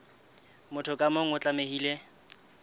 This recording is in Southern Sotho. motho ka mong o tlamehile